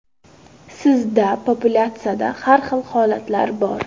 Sizda populyatsiyada har xil holatlar bor.